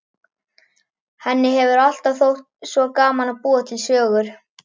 Henni hefur alltaf þótt svo gaman að búa til sögur.